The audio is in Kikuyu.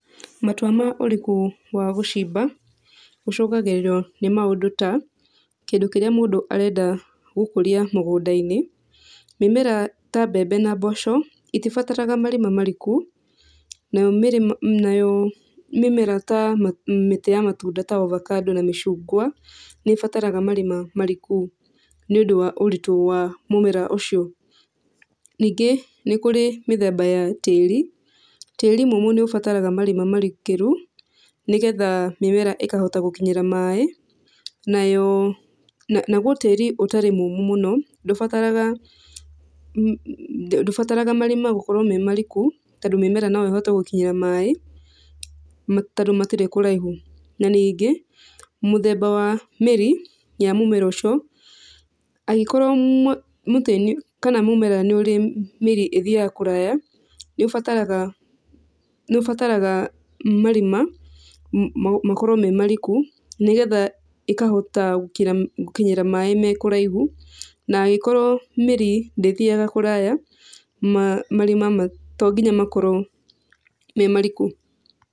Matua ma ũriku wa gũcimba, ũcũngagĩrĩrio nĩ maũndũ ta kĩndũ kĩrĩa mũndũ arenda gũkũria mũgũnda-inĩ. Mĩmera ta mbembe na mboco itibataraga marima mariku, nayo nayo mĩmera ta mĩtĩ ya matunda ta ovacado na mĩcungwa, nĩĩbataraga marima mariku nĩũndũ wa ũritũ wa mũmera ũcio. Ningĩ nĩ kũrĩ mĩthemba ya tĩri, tĩri mũmũ nĩũbataraga marima marikĩru nĩgetha mĩmera ĩkahota gũkinyĩra maĩ nayo, naguo tĩri ũtarĩ mũmũ mũno ndũbataraga ndũbataraga marima gũkorwo me mariku, tondũ mĩmera no ĩhote gũkinyĩra maĩ tondũ matirĩ kũraihu. Na ningĩ mũthemba wa mĩri ya mũmera ũcio, angĩkorwo mũtĩ kana mũmera nĩũrĩ mĩri ĩthiaga kũraya, nĩũbataraga nĩũbataraga marima makorwo me mariku nĩgetha ĩkahota gũkinyĩra maĩ me kũraihu. Na angĩkorwo mĩri ndĩthiaga kũraya marima to nginya makorwo me mariku.